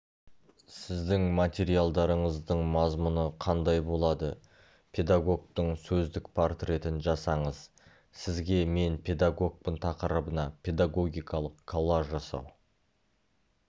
сіздің материалдарыңыздың мазмұны қандай болады педагогтың сөздік портретін жасаңыз сізге мен педагогпын тақырыбына педагогикалық коллаж жасау